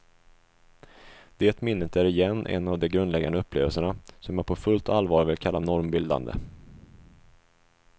Det minnet är igen en av de grundläggande upplevelserna, som jag på fullt allvar vill kalla normbildande.